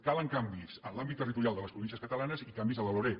calen canvis en l’àmbit territorial de les províncies catalanes i canvis a la loreg